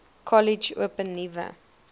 kollege open nuwe